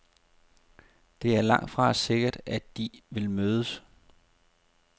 Det er langtfra sikkert, at de vil mødes.